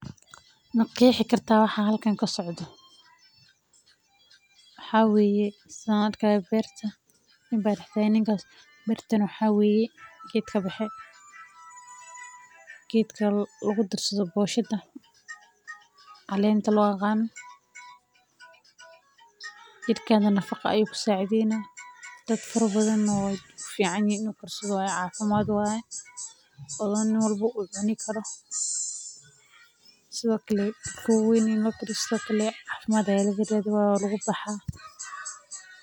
Ma qeexi kartaa waxa halkan kasocdo waxa waye saan arkaayo beerta nin ayaa dex taagan beerta geed kabaxe geedka caleenta loo yaqaano waa wax qof walbo uu fiirsan Karo.